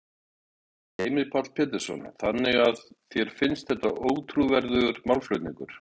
Heimir Már Pétursson: Þannig að þér finnst þetta ótrúverðugur málflutningur?